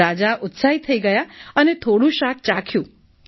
રાજા ઉત્સાહિત થઈ ગયા અને થોડું શાક ચાખ્યું